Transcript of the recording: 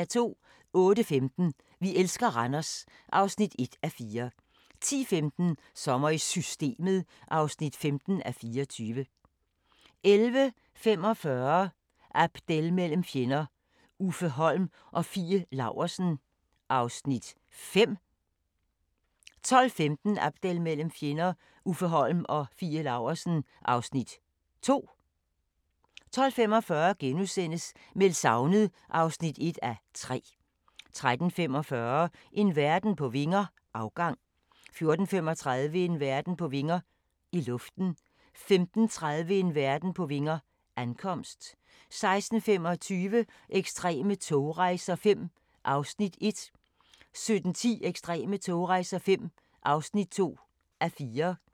08:15: Vi elsker Randers (1:4) 10:15: Sommer i Systemet (15:24) 11:45: Abdel mellem fjender - Uffe Holm og Fie Laursen (Afs. 5) 12:15: Abdel mellem fjender – Uffe Holm og Fie Laursen (Afs. 2) 12:45: Meldt savnet (1:3)* 13:45: En verden på vinger - afgang 14:35: En verden på vinger – i luften 15:30: En verden på vinger – ankomst 16:25: Ekstreme togrejser V (1:4) 17:10: Ekstreme togrejser V (2:4)